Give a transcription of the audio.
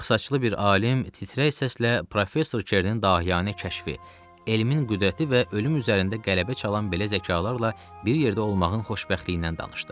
Ağsaçlı bir alim titrək səslə professor Kernin dahiyanə kəşfi, elmin qüdrəti və ölüm üzərində qələbə çalan belə zəkalarla bir yerdə olmağın xoşbəxtliyindən danışdı.